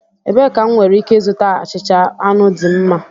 Ebee ka m nwere ike ịzụta achịcha anụ dị mma?